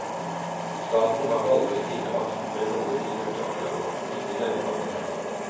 Staten har aldri bidratt med noe til utearealer, ikke denne gangen heller.